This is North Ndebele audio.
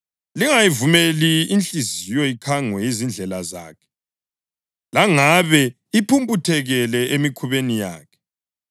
Lingayivumeli inhliziyo ikhangwe yizindlela zakhe, langabe iphumputhekele emikhubeni yakhe.